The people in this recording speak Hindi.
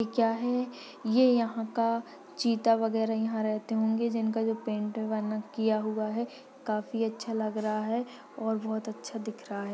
ये क्या है ये यहा का चीता वगैरा यहा रहते होंगे जिनका जो पेंट किया हूआ है काफी अच्छा लग रहा है और बहुत अच्छा दिख रहा है।